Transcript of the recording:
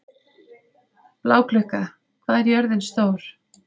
Bláklukka, hvað er jörðin stór?